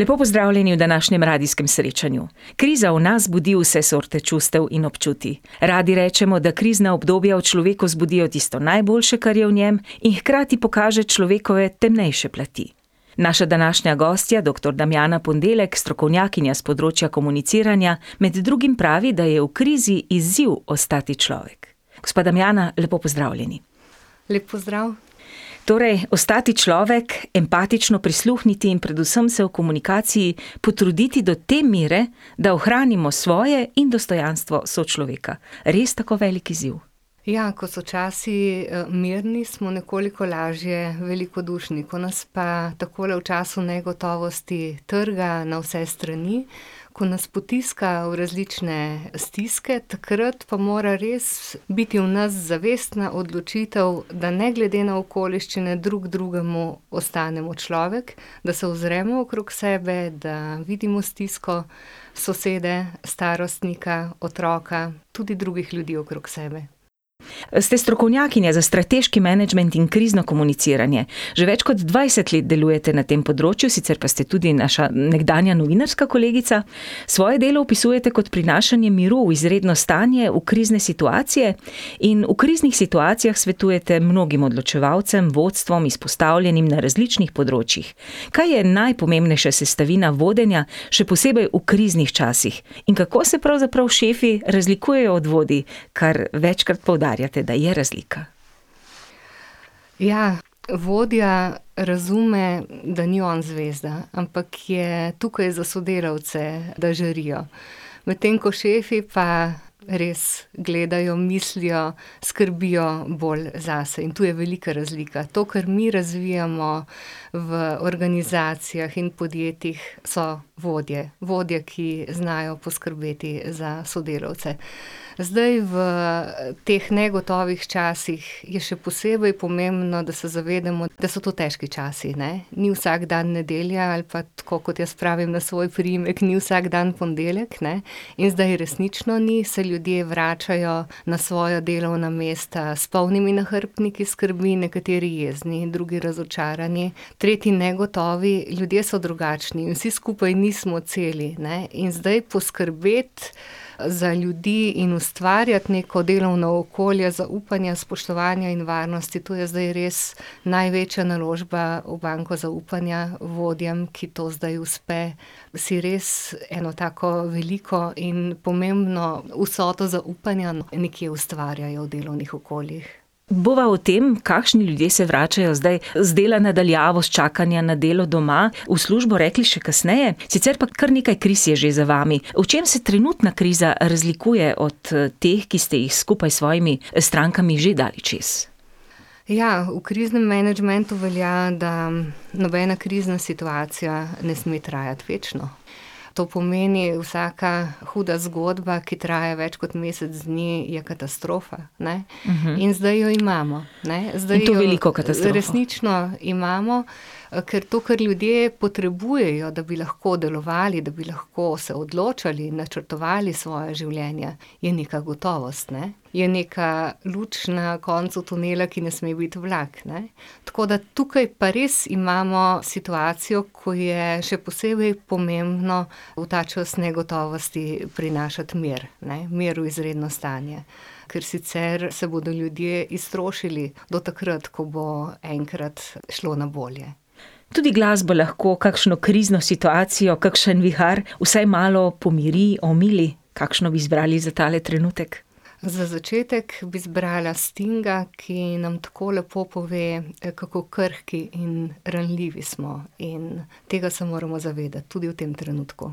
Lepo pozdravljeni v današnjem radijskem srečanju. Kriza v nas zbudi vse sorte čustev in občutij. Radi rečemo, da krizna obdobja v človeku zbudijo tisto najboljše, kar je v njem, in hkrati pokaže človekove temnejše plati. Naša današnja gostja, doktor Damjana Ponedeljek, strokovnjakinja s področja komuniciranja, med drugim pravi, da je v krizi izziv ostati človek. Gospa Damjana, lepo pozdravljeni. Lep pozdrav. Torej, ostati človek, empatično prisluhniti in predvsem se v komunikaciji potruditi, do te mere, da ohranimo svoje in dostojanstvo sočloveka. Res tako velik izziv? Ja, ko so časi, mirni, smo nekoliko lažje velikodušni, ko nas pa takole v času negotovosti trga na vse strani, ko nas potiska v različne stiske, takrat pa mora res biti v nas zavestna odločitev, da ne glede na okoliščine drug drugemu ostanemo človek, da se ozremo okrog sebe, da vidimo stisko sosede, starostnika, otroka, tudi drugih ljudi okrog sebe. Ste strokovnjakinja za strateški menedžement in krizno komuniciranje. Že več kot dvajset let delujete na tem področju, sicer pa ste tudi naša nekdanja novinarska kolegica. Svoje delo opisujete kot prinašanje miru v izredno stanje, v krizne situacije. In v kriznih situacijah svetujete mnogim odločevalcem, vodstvom, izpostavljenim na različnih področjih. Kaj je najpomembnejša sestavina vodenja, še posebej v kriznih časih, in kako se pravzaprav šefi razlikujejo od vodij, kar večkrat poudarjate, da je razlika? Ja, vodja razume, da ni on zvezda, ampak je tukaj za sodelavce, da žarijo. Medtem ko šefi pa res gledajo, mislijo, skrbijo bolj zase. In tu je velika razlika. To, kar mi razvijamo v organizacijah in podjetjih, so vodje. Vodje, ki znajo poskrbeti za sodelavce. Zdaj v teh negotovih časih je še posebej pomembno, da se zavedamo, da so to težki časi, ne. Ni vsak dan nedelja ali pa tako, kot jaz pravim, na svoj priimek, ni vsak dan ponedeljek, ne. In zdaj resnično ni, se ljudje vračajo na svoja delovna mesta s polnimi nahrbtniki skrbi, nekateri jezni, drugi razočarani, tretji negotovi, ljudje so drugačni. Vsi skupaj nismo celi, ne. In zdaj poskrbeti za ljudi in ustvarjati neko delovno okolje zaupanja, spoštovanja in varnosti, to je zdaj res največja naložba v banko zaupanja vodjem, ki to zdaj uspe. Si res eno tako veliko in pomembno vsoto zaupanja nekje ustvarjajo v delovnih okoljih. Bova o tem, kakšni ljudje se vračajo zdaj z dela na daljavo, s čakanja na delo doma v službo, rekli še kasneje, sicer pa kar nekaj kriz je že za vami. V čem se trenutna kriza razlikuje od, teh, ki ste jih skupaj s svojimi strankami že dali čez? Ja, v kriznem menedžmentu velja, da nobena krizna situacija ne sme trajati večno. To pomeni vsaka huda zgodba, ki traja več kot mesec dni, je katastrofa, ne. In zdaj jo imamo, ne. Zdaj jo resnično imamo. In to veliko katastrofo. Ker to, kar ljudje potrebujejo, da bi lahko delovali, da bi lahko se odločali, načrtovali svoja življenja, je neka gotovost, ne? Je neka luč na koncu tunela, ki ne sme biti vlak, ne. Tako da tukaj pa res imamo situacijo, ko je še posebej pomembno v ta čas negotovosti prinašati mir, ne. Mir v izredno stanje. Ker sicer se bodo ljudje iztrošili do takrat, ko bo enkrat šlo na bolje. Tudi glasbo lahko kakšno krizno situacijo, kakšen vihar vsaj malo pomiri, omili. Kakšno bi izbrali za tale trenutek? Za začetek bi zbrala Stinga, ki nam tako lepo pove, kako krhki in ranljivi smo, in tega se moramo zavedati tudi v tem trenutku.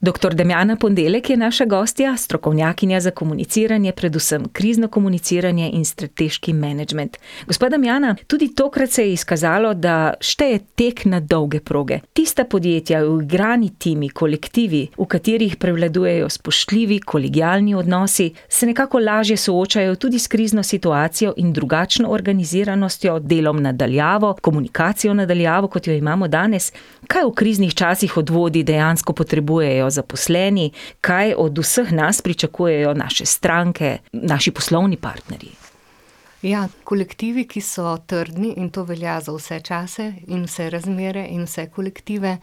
Doktor Damjana Ponedeljek je naša gostja, strokovnjakinja za komuniciranje, predvsem krizno komuniciranje in strateški menedžment. Gospa Damjana, tudi tokrat se je izkazalo, da šteje tek na dolge proge. Tista podjetja, uigrani timi, kolektivi, v katerih prevladujejo spoštljivi, kolegialni odnosi, se nekako lažje soočajo tudi s krizno situacijo in drugačno organiziranostjo, delom na daljavo, komunikacijo na daljavo, kot jo imamo danes. Kaj v kriznih časih od vodij dejansko potrebujejo zaposleni, kaj od vseh nas pričakujejo naše stranke, naši poslovni partnerji? Ja, kolektivi, ki so trdni, in to velja za vse čase in vse razmere in vse kolektive,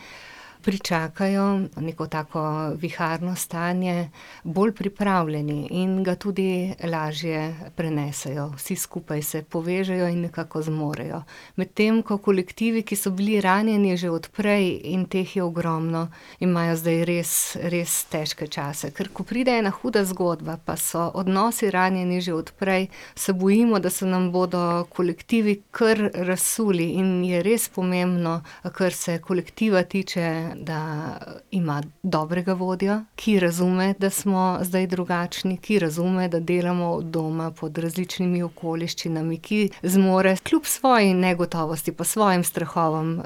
pričakajo neko tako viharno stanje bolj pripravljeni in ga tudi lažje prenesejo. Vsi skupaj se povežejo in nekako zmorejo. Medtem ko kolektivi, ki so bili ranjeni že od prej, in teh je ogromno, imajo zdaj res, res težke čase, ker ko pride ena huda zgodba pa so odnosi ranjeni že od prej, se bojimo, da se nam bodo kolektivi kar razsuli in mi je res pomembno, kar se kolektiva tiče, da ima dobrega vodjo, ki razume, da smo zdaj drugačni, ki razume, da delamo od doma pod različnimi okoliščinami, ki zmore kljub svoji negotovosti, pod svojimi strahovi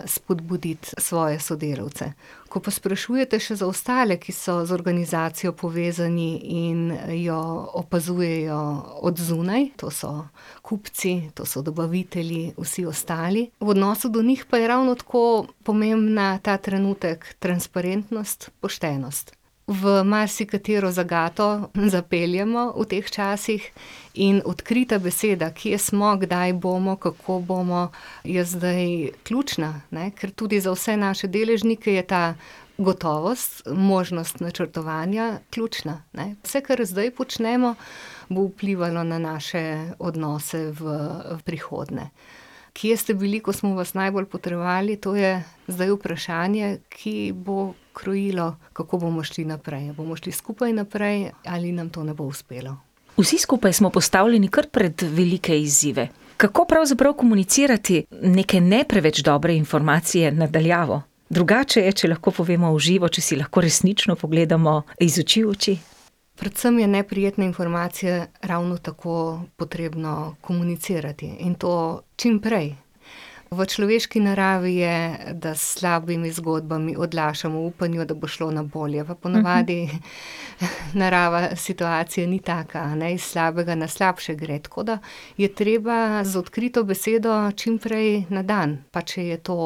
spodbuditi svoje sodelavce. Ko pa sprašujete še za ostale, ki so z organizacijo povezani in jo opazujejo od zunaj, to so kupci, to so dobavitelji, vsi ostali. V odnosu do njih pa je ravno tako pomembna ta trenutek, transparentnost, poštenost. V marsikatero zagato zapeljemo v teh časih in odkrita beseda, kje smo, kdaj bomo, kako bomo, je zdaj ključna, ne, ker tudi za vse naše deležnike je ta gotovost, možnost načrtovanja, ključna, ne. Vse, kar zdaj počnemo, bo vplivalo na naše odnose v prihodnje. Kje ste bili, ko smo vas najbolj potrebovali, to je zdaj vprašanje, ki bo krojilo, kako bomo šli naprej. A bomo šli skupaj naprej ali nam to ne bo uspelo. Vsi skupaj smo postavljeni kar pred velike izzive. Kako pravzaprav komunicirati neke ne preveč dobre informacije na daljavo? Drugače je, če lahko povemo v živo, če si lahko resnično pogledamo iz oči v oči. Predvsem je neprijetne informacije ravno tako potrebno komunicirati in to čimprej. V človeški naravi je, da s slabimi zgodbami odlašamo v upanju, da bo šlo na bolje, po navadi narava situacije ni taka, ne, iz slabega na slabše gre, tako da je treba z odkrito besedo čimprej na dan, pa če je to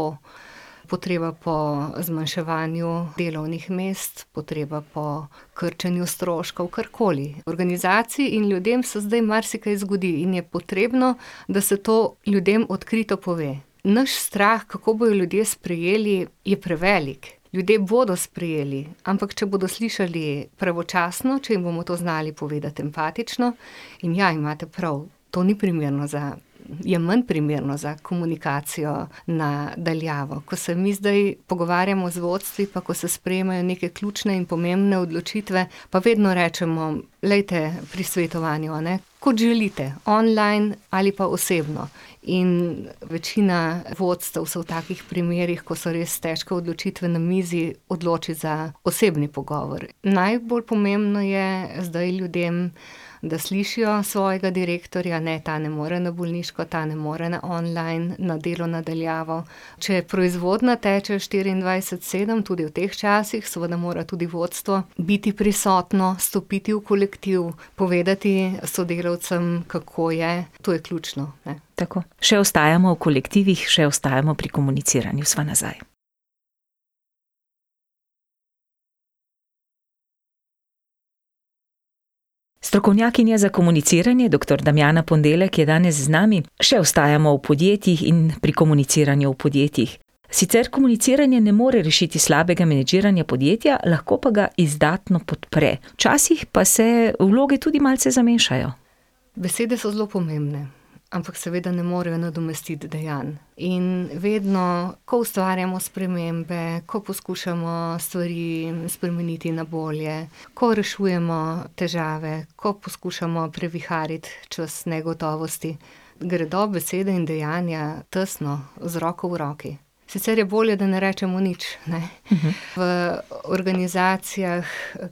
potreba po zmanjševanju delovnih mest, potreba po krčenju stroškov, karkoli, organizaciji in ljudem se zdaj marsikaj zgodi in je potrebno, da se to ljudem odkrito pove. Naš strah, kako bojo ljudje sprejeli, je prevelik. Ljudje bodo sprejeli, ampak če bodo slišali pravočasno, če jim bomo to znali povedati empatično, in ja, imate prav, to ni primerno za, je manj primerno za komunikacijo na daljavo, ko se mi zdaj pogovarjamo z vodstvi, pa ko se sprejemajo neke ključne in pomembne odločitve, pa vedno rečemo, glejte, pri svetovanju, a ne, kot želite, online ali pa osebno. In večina vodstev se v takih primerih, ko so res težke odločitve na mizi, odloči za osebni pogovor. Najbolj pomembno je zdaj ljudem, da slišijo svojega direktorja, ne, ta ne more na bolniško, ta ne more na online, na delo na daljavo. Če je proizvodnja teče štirindvajset sedem tudi v teh časih, seveda mora tudi vodstvo biti prisotno, stopiti v kolektiv, povedati sodelavcem, kako je, to je ključno, ne. Tako. Še ostajamo v kolektivih, še ostajamo pri komuniciranju. Sva nazaj. Strokovnjakinja za komuniciranje, doktor Damjana Ponedeljek je danes z nami. Še ostajamo v podjetjih in pri komuniciranju v podjetjih. Sicer komuniciranje ne more rešiti slabega menedžiranja podjetja, lahko pa ga izdatno podpre. Včasih pa se vloge tudi malce zamešajo. Besede so zelo pomembne. Ampak seveda ne morejo nadomestiti dejanj. In vedno, ko ustvarjamo spremembe, ko poskušamo stvari spremeniti na bolje, ko rešujemo težave, ko poskušamo previhariti čas negotovosti, gredo besede in dejanja tesno z roko v roki. Sicer je bolje, da ne rečemo nič, ne. V organizacijah,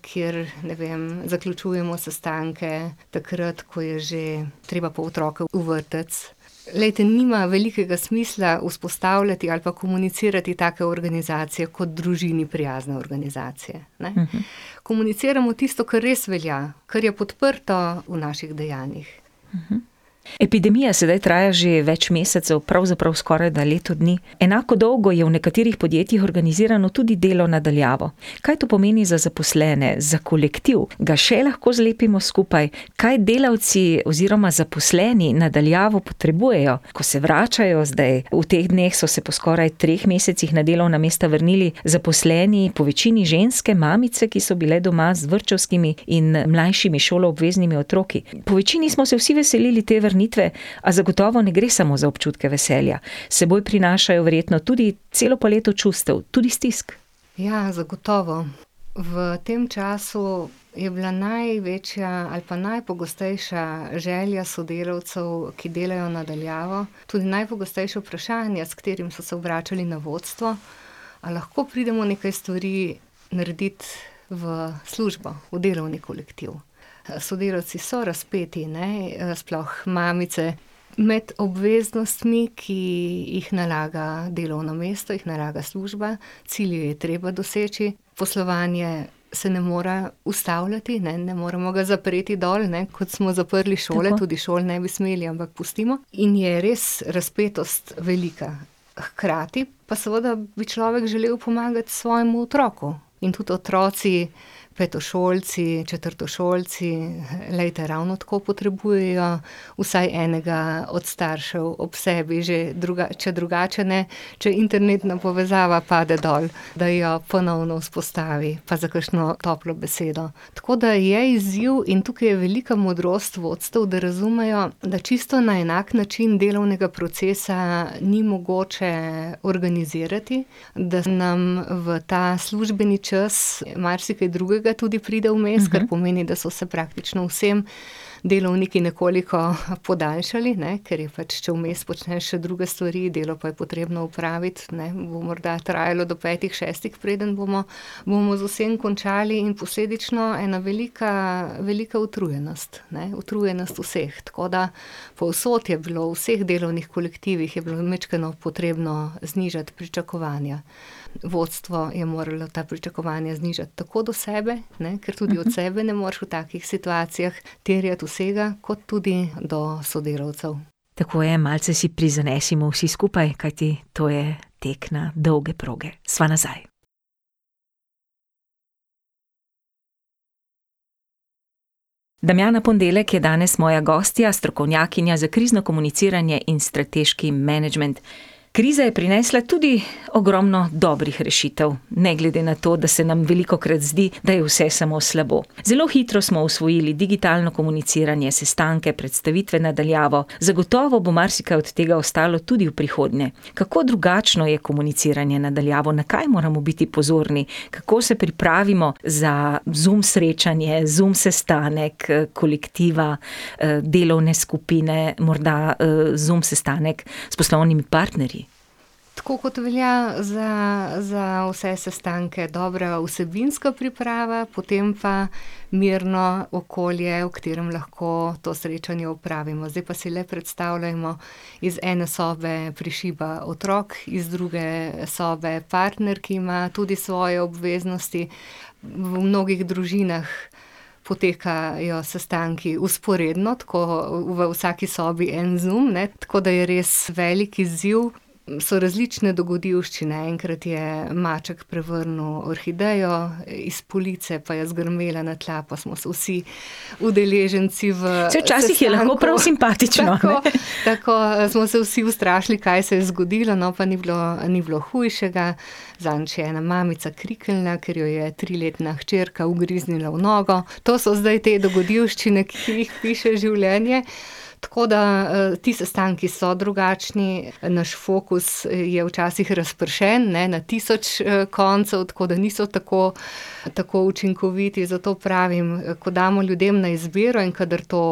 kjer, ne vem, zaključujemo sestanke, takrat, ko je že treba po otroke v vrtec. Glejte, nima velikega smisla vzpostavljati ali pa komunicirati take organizacije kot družini prijazne organizacije, ne. Komuniciramo tisto, kar res velja, kar je podprto v naših dejanjih. Epidemija sedaj traja že več mesecev, pravzaprav skorajda leto dni. Enako dolgo je v nekaterih podjetjih organizirano tudi delo na daljavo. Kaj to pomeni za zaposlene? Za kolektiv? Ga še lahko zlepimo skupaj? Kaj delavci oziroma zaposleni na daljavo potrebujejo, ko se vračajo zdaj? V teh dneh so se po skoraj treh mesecih na delovna mesta vrnili zaposleni, po večini ženske, mamice, ki so bile doma z vrtčevskimi in mlajšimi šoloobveznimi otroki. Po večini smo se vsi veselili te vrnitve, a zagotovo ne gre samo za občutke veselja. S seboj prinašajo verjetno tudi celo paleto čustev, tudi stisk. Ja, zagotovo. V tem času je bila največja ali pa najpogostejša želja sodelavcev, ki delajo na daljavo, tudi najpogostejša vprašanja, s katerimi so se obračali na vodstvo: "A lahko pridemo nekaj stvari naredit v službo, v delovni kolektiv?" Sodelavci so razpeti, ne, sploh mamice, med obveznostmi, ki jih nalaga delovno mesto, jih nalaga služba, cilje je treba doseči, poslovanje se ne more ustavljati, ne. Ne moremo ga zapreti dol, ne, kot smo zaprli šole. Tudi šol ne bi smeli, ampak pustimo. In je res razpetost velika. Hkrati pa seveda bi človek želel pomagati svojemu otroku in tudi otroci, petošolci, četrtošolci, glejte, ravno tako potrebujejo vsaj enega od staršev ob sebi, že če drugače ne, če internetna povezava pade dol, da jo ponovno vzpostavi, pa za kakšno toplo besedo. Tako da je izziv in tukaj je velika modrost vodstev, da razumejo, da čisto na enak način delovnega procesa ni mogoče organizirati, da nam v ta službeni čas marsikaj drugega tudi pride vmes, kar pomeni, da so se praktično vsem delovniki nekoliko podaljšali, ne. Ker je pač, če vmes počneš še druge stvari, delo pa je potrebno opraviti, ne, bo morda trajalo do petih, šestih, preden bomo, bomo z vsem končali, in posledično ena velika, velika utrujenost. Ne, utrujenost vseh, tako da povsod je bilo, v vseh delovnih kolektivih je bilo majčkeno potrebno znižati pričakovanja. Vodstvo je moralo ta pričakovanja znižati, tako do sebe, ne, ker tudi od sebe ne moreš v takih situacijah terjati vsega, kot tudi do sodelavcev. Tako je, malce si prizanesimo vsi skupaj, kajti to je tek na dolge proge. Sva nazaj. Damjana Ponedeljek je danes moja gostja, strokovnjakinja za krizno komuniciranje in strateški menedžment. Kriza je prinesla tudi ogromno dobrih rešitev. Ne glede na to, da se nam velikokrat zdi, da je vse samo slabo. Zelo hitro smo osvojili digitalno komuniciranje, sestanke, predstavitve na daljavo, zagotovo bo marsikaj od tega ostalo tudi v prihodnje. Kako drugačno je komuniciranje na daljavo? Na kaj moramo biti pozorni, kako se pripravimo za Zoom srečanje, Zoom sestanek, kolektiva, delovne skupine, morda, Zoom sestanek s poslovnimi partnerji? Tako kot velja za, za vse sestanke, dobra vsebinska priprava, potem pa mirno okolje, v katerem lahko to srečanje opravimo, zdaj pa si le predstavljajmo, iz ene sobe prišiba otrok, iz druge sobe partner, ki ima tudi svoje obveznosti. V mnogih družinah potekajo sestanki vzporedno, tako v vsaki sobi en Zoom, ne. Tako da je res velik izziv. So različne dogodivščine, enkrat je maček prevrnil orhidejo iz police, pa je zgrmela na tla pa smo se vsi udeleženci v sestanku ... Tako, tako, smo se se vsi ustrašili, kaj se je zgodilo, no, pa ni bilo, ni bilo hujšega. Saj včasih je lahko prav simpatično. Zadnjič je ena mamica kriknila, ker jo je triletna hčerka ugriznila v nogo. To so zdaj te dogodivščine, ki jih piše življenje, tako da, ti sestanki so drugačni. Naš fokus je včasih razpršen, ne, na tisoč, koncev, tako da niso tako tako učinkoviti, zato pravim, ko damo ljudem na izbiro in kadar to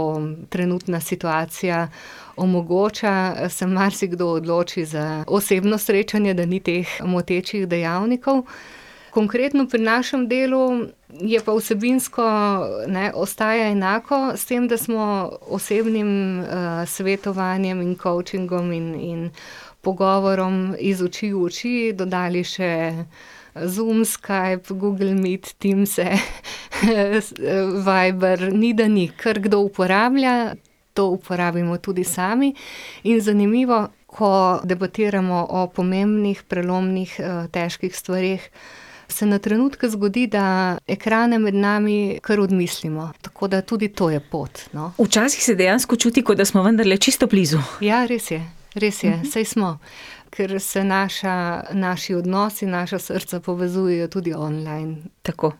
trenutna situacija omogoča, se marsikdo odloči za osebno srečanje, da ni teh motečih dejavnikov. Konkretno pri našem delu je pa vsebinsko, ne, ostaja enako, s tem da smo osebnim, svetovanjem in kovčingom in, in pogovorom iz oči v oči dodali še Zoom, Skype, Google Meet, Teamse, Viber, ni da ni. Kar kdo uporablja, to uporabimo tudi sami. In zanimivo, ko debatiramo o pomembnih, prelomnih, težkih stvareh, se na trenutke zgodi, da ekrane med nami kar odmislimo, tako da tudi to je pot, no. Včasih se dejansko čuti, kot da smo vendarle čisto blizu. Ja, res je, res je. Saj smo. Ker se naša, naši odnosi, naša srca povezujejo tudi online. Tako.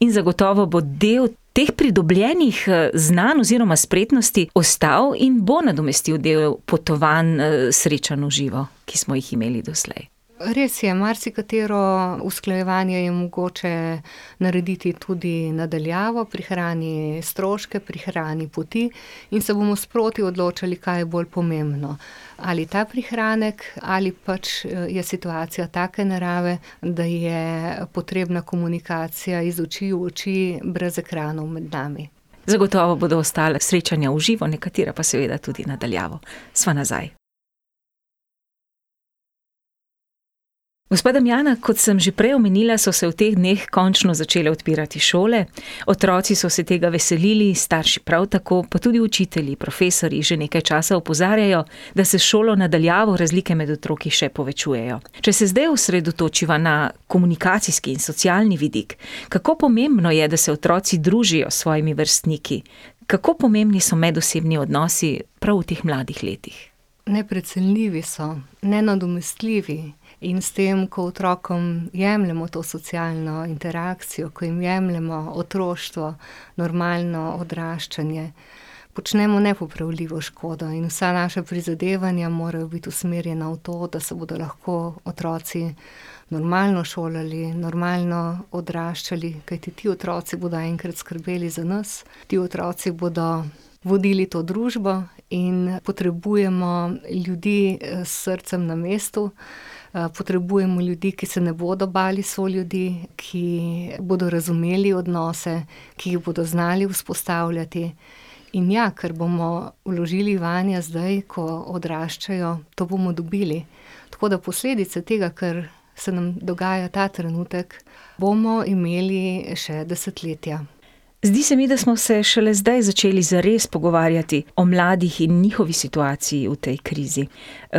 In zagotovo bo del teh pridobljenih, znanj oziroma spretnosti postal in bo nadomestil del potovanj, srečanj v živo, ki smo jih imeli doslej. Res je. Marsikatero usklajevanje je mogoče narediti tudi na daljavo, prihrani stroške, prihrani poti. In se bomo sproti odločali, kaj je bolj pomembno. Ali ta prihranek ali pač je situacija take narave, da je potrebna komunikacija iz oči v oči, brez ekranov med nami. Zagotovo bodo ostala srečanja v živo, nekatera pa seveda tudi na daljavo. Sva nazaj. Gospa Damjana, kot sem že prej omenila, so se v teh dneh končno začele odpirati šole. Otroci so se tega veselili, starši prav tako, pa tudi učitelji, profesorji že nekaj časa opozarjajo, da se s šolo na daljavo razlike med otroki še povečujejo. Če se zdaj osredotočiva na komunikacijski in socialni vidik, kako pomembno je, da se otroci družijo s svojimi vrstniki? Kako pomembni so medosebni odnosi, prav v teh mladih letih? Neprecenljivi so. Nenadomestljivi. In s tem, ko otrokom jemljemo to socialno interakcijo, ko jim jemljemo otroštvo, normalno odraščanje, počnemo nepopravljivo škodo, in vsa naša prizadevanja morajo biti usmerjena v to, da se bodo lahko otroci normalno šolali, normalno odraščali, kajti ti otroci bodo enkrat skrbeli za nas. Ti otroci bodo vodili to družbo in potrebujemo ljudi, s srcem na mestu, potrebujemo ljudi, ki se ne bodo bali soljudi, ki bodo razumeli odnose, ki jih bodo znali vzpostavljati. In ja, kar bomo vložili vanje zdaj, ko odraščajo, to bomo dobili. Tako da posledice tega, kar se nam dogaja ta trenutek, bomo imeli še desetletja. Zdi se mi, da smo se šele zdaj začeli zares pogovarjati o mladih in njihovi situaciji v tej krizi.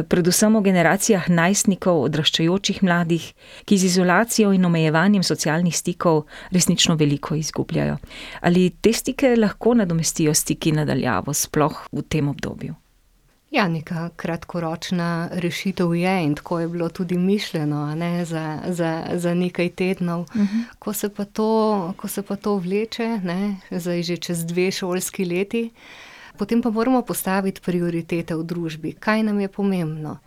predvsem o generacijah najstnikov, odraščajočih mladih, ki z izolacijo in omejevanjem socialnih stikov resnično veliko izgubljajo. Ali te stike lahko nadomestijo stiki na daljavo, sploh v tem obdobju? Ja, neka kratkoročna rešitev je in tako je bilo tudi mišljeno, a ne, za, za, za nekaj tednov. Ko se pa to, ko se pa to vleče, ne, zdaj že čez dve šolski leti, potem pa moramo postaviti prioritete v družbi. Kaj nam je pomembno?